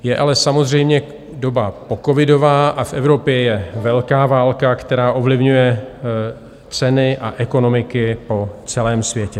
Je ale samozřejmě doba pocovidová a v Evropě je velká válka, která ovlivňuje ceny a ekonomiky po celém světě.